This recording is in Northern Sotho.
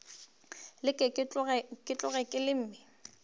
leke ke tloge ke leme